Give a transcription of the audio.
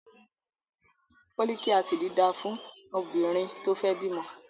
Fólíkì Ásíìdì dáa fún obìnrin tó fẹ́ bímọ